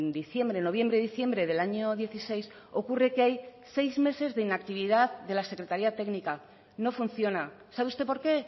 diciembre noviembre diciembre del año dieciséis ocurre que hay seis meses de inactividad de la secretaria técnica no funciona sabe usted por qué